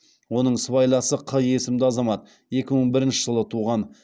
оның сыбайласы қ есімді азамат екі мың бірінші жылы туған